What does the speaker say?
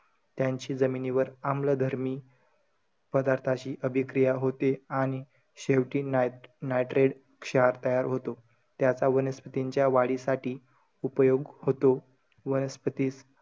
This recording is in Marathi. त्यांची जमिनीवर आम्ल धर्मी पदार्थांशी अभिक्रीया होते. आणि शेवटी nitrate क्षार तयार होतो. त्याचा वनस्पतींच्या वाढीसाठी उपयोग होतो. वनस्पतिज,